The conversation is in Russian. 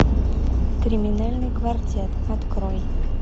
криминальный квартет открой